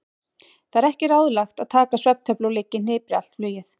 Það er ekki ráðlegt að taka svefntöflu og liggja í hnipri allt flugið.